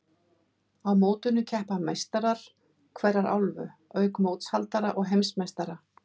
Á mótinu keppa meistarar hverrar álfu, auk mótshaldara og heimsmeistara.